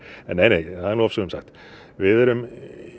neinei það er nú ofsögum sagt við erum